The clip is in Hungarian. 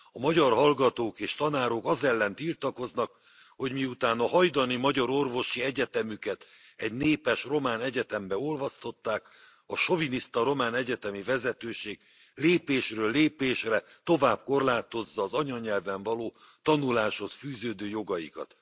A magyar hallgatók és tanárok az ellen tiltakoznak, hogy miután a hajdani Magyar Orvosi Egyetemüket egy népes román egyetembe olvasztották, a soviniszta román egyetemi vezetőség lépésről lépésre tovább korlátozza az anyanyelven való tanuláshoz fűződő jogaikat.